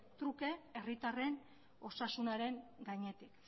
truke herritarren osasunaren gainetik